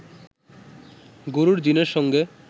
গরুর জিনের সঙ্গে